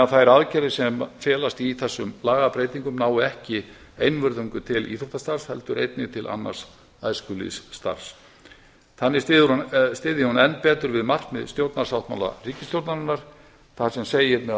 þær aðgerðir sem felast í þessum lagabreytingum nái ekki einvörðungu til íþróttastarfs heldur einnig til annars æskulýðsstarfs þannig styðji hún enn betur við markmið stjórnarsáttmála ríkisstjórnarinnar þar sem segir meðal